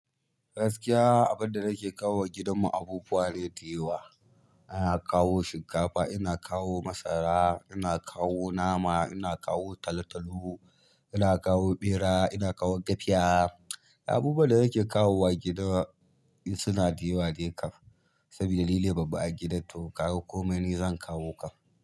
Gaskiya. Abin da nake kawowa gidan ku abubuwa ne da yawa. Ina kawo shinkafa, ina kawo masara, ina kawo nama, ina kawo talo-talo, ina kawo ɓera, ina kawo gafiya. Ina kawo shinkafa, ina kawo masara, ina kawo nama, ina kawo talo-talu, ina kawo bera, ina kawo gaciya. Abubuwa da nake kawo wa gida suna da yawa dai ƙaf.